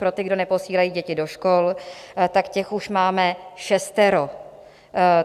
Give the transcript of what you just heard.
Pro ty, kdo neposílají děti do škol, tak těch už máme šestero.